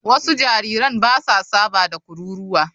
Wasu jariran ba sa saba da kururuwa.